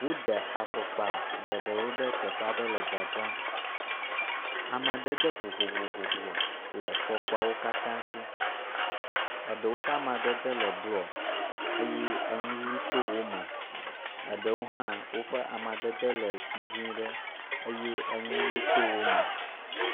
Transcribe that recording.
Wode fɔkpa geɖewo ɖe teƒe aɖe le dzadzram. Amadede vovovo le fɔkpawo katã si. Eɖewo ƒe amadede le blɔ eye enu ʋɛ̃ to wo me, eɖewo hã woƒe amadede le dzɛ̃ ɖe eye enuʋi to wo me.